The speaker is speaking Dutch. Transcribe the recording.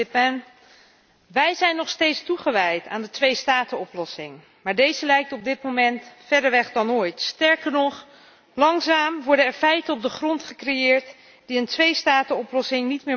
Wij zijn nog steeds toegewijd aan de twee statenoplossing, maar deze lijkt op dit moment verder weg dan ooit, sterker nog, langzaam worden er feiten op de grond gecreëerd die een twee statenoplossing niet meer mogelijk maken.